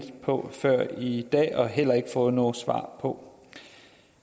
på før i dag og heller ikke fået noget svar på